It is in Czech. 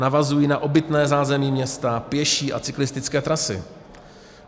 Navazují na obytné zázemí města, pěší a cyklistické trasy.